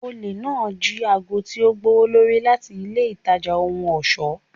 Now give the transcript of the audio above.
Ole naa ji aago ti o gbowolori lati ile itaja ohun ọṣọ.